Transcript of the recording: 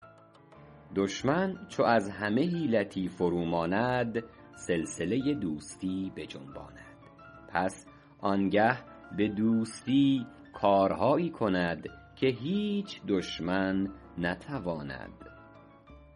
دشمن چو از همه حیلتی فرو ماند سلسله دوستی بجنباند پس آنگه به دوستی کارهایی کند که هیچ دشمن نتواند